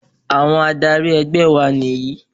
Àwọn adarí ẹgbẹ́ wa nì yìí.